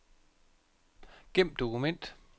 Gem dokument.